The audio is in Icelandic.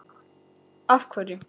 Róbert: Af hverju?